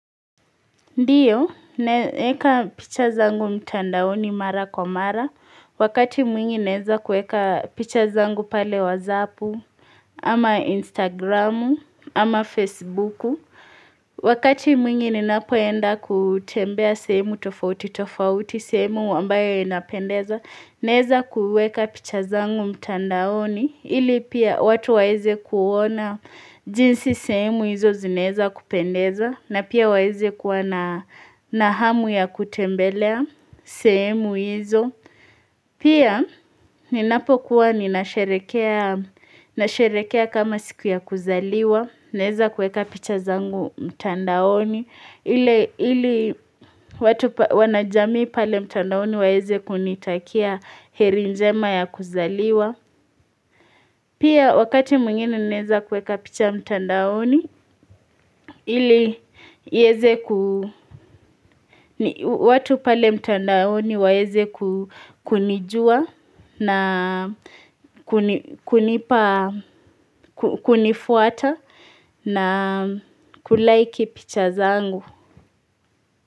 Ndio, naeka picha zangu mtandaoni mara kwa mara, wakati mwingi naeza kuweka picha zangu pale whatzapu, ama instagramu, ama facebooku, wakati mwingi ninapoenda kutembea sehemu tofauti tofauti sehemu ambayo inapendeza, naeza kuweka picha zangu mtandaoni, ili pia watu waeze kuona jinsi sehemu hizo zinaeza kupendeza na pia waeze kuwa na na hamu ya kutembelea sehemu hizo, pia ninapokuwa ninasherehekea nasherekea kama siku ya kuzaliwa naeza kuweka picha zangu mtandaoni ili watu wanajamii pale mtandaoni waeze kunitakia heri njema ya kuzaliwa Pia wakati mwingine naeza kuweka picha mtandaoni, ili ieze kuu, ni watu pale mtandaoni waeze ku kunijua na kunipa kunifuata na na kuliki picha zangu.